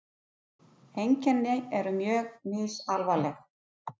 Einkenni eru mjög misalvarleg.